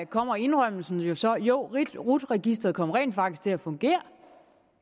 kommer indrømmelsen så jo rut registeret kom rent faktisk til at fungere